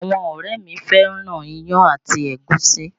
Àwọn ọ̀rẹ́ mi fẹ́ràn iyán àti ẹ̀gúsí